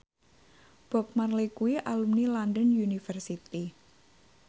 Bob Marley kuwi alumni London University